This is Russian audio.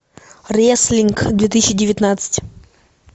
реслинг две тысячи девятнадцать